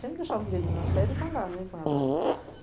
Sempre deixava um dia ali na férias para andar, né, com elas.